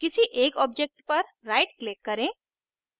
किसी एक objects पर right click करें